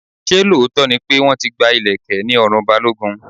Ṣé lóòótọ́ ni pé wọ́n ti gba ileke ní ọrùn Balogun?